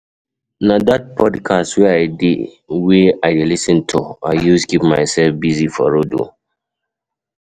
Na dat podcast wey I dey wey I dey lis ten to I use keep mysef busy for road.